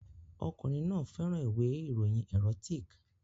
Ọkùnrin náà fẹ́ràn ìwé ìròyìn erotic